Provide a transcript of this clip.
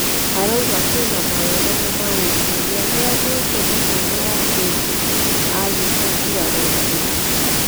Arauga kwĩ na mawega na maũru na nĩ aheanĩ te mũhano wa hĩ ndĩ agĩ te nguraro njũru.